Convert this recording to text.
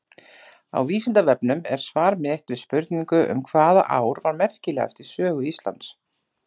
Á Vísindavefnum er svar mitt við spurningu um hvaða ár var merkilegast í sögu Íslands.